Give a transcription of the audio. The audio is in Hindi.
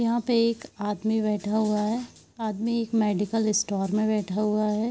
यहाँ पे एक आदमी बैठा हुआ है आदमी एक मेडिकल स्टोर में बैठा हुआ है।